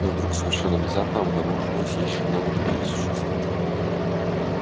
но вдруг совершенно внезапно обнаружилось ещё много других существ